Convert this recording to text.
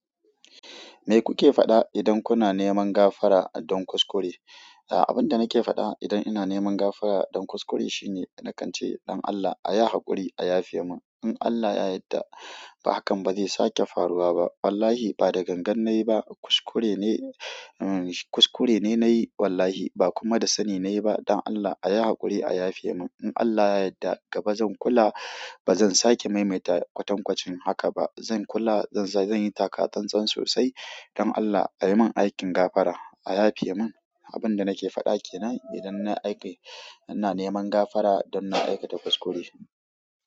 Me kuke faɗa idan kuna neman gafara don kuskure? A'a, abin da nake faɗa idan ina neman gafara don kuskure shine na kan ce, "Dan Allah, a yi haƙuri, a yafe mun. In Allah ya yadda hakan bazai sake faruwa ba wallahi ba da gangan na yi ba, kuskure ne, um kuskure ne na yi wallahi ba kuma da sani na yi ba. Dan Allah, a yi haƙuri, a yafe mun. In Allah ya yadda gaba zan kula, ba zan sake maimaita kwatankwacin haka ba. Zan kula, zan zan yi takatsan-tsan sosai. Dan Allah, a yi mun aikin gafara, a yafe mun." Abin da nake faɗa ke nan idan na aiki, ina neman gafara don na aikata kuskure.